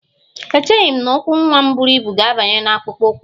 Echeghị m na ụkwụ nwa m buru ibu ga-abanye n'akpụkpọ ụkwụ a